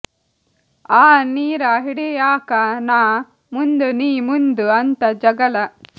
ಆ ನೀರ ಹಿಡಿಯಾಕ ನಾ ಮುಂದು ನೀ ಮುಂದು ಅಂತ ಜಗಳ